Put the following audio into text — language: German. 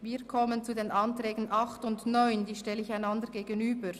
Die Ordnungsanträge 8 und 9 stelle ich einander gegenüber.